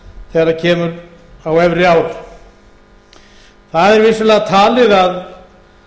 þegar kemur á efri ár það er vissulega talið að